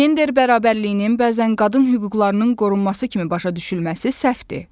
Gender bərabərliyinin bəzən qadın hüquqlarının qorunması kimi başa düşülməsi səhvdir.